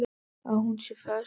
Að hún sé föst.